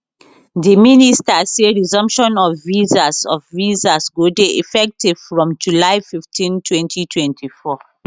di minister say resumption of visas of visas go dey effective from july 15 2024